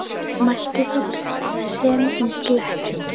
Mælti þá Björn sem í gletti